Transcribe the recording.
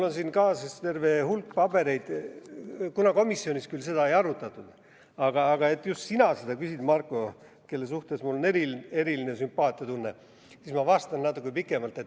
Komisjonis seda küll ei arutatud, aga et seda küsid just sina, Marko, kelle suhtes mul on eriline sümpaatiatunne, siis ma vastan natuke pikemalt.